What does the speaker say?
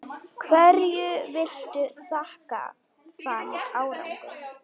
Hverju viltu þakka þann árangur?